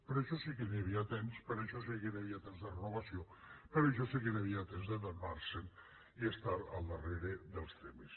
per a això sí que hi havia temps per a això sí que hi havia temps de renovació per a això sí que hi havia temps d’adonar se’n i estar al darrere dels temes